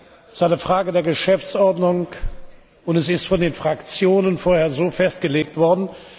Es ist eine Frage der Geschäftsordnung und es ist von den Fraktionen vorher so festgelegt worden.